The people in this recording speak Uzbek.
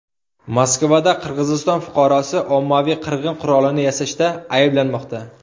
Moskvada Qirg‘iziston fuqarosi ommaviy qirg‘in qurolini yasashda ayblanmoqda.